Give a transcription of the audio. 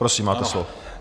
Prosím, máte slovo.